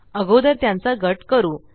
अगोदर त्यांचा गट करू